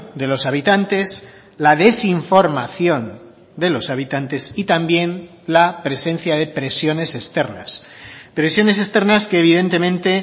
de los habitantes la desinformación de los habitantes y también la presencia de presiones externas presiones externas que evidentemente